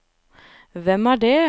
hvem er det